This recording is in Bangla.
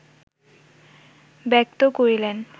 ব্যক্ত করিলেন